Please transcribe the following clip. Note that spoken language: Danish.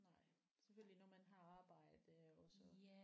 Nej selvfølgelig når man har arbejde og så